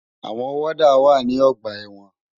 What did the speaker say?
Awòn wòdá má n wá ni ògbà èwòn